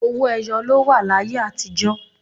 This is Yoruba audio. Owó ẹyọ ló wà láyé àtíjọ̀